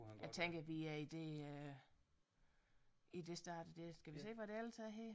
Jeg tænker vi er i det øh i det stadie der skal vi se hvad der ellers er her